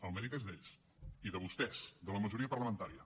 el mèrit és d’ells i de vostès de la majoria parlamentària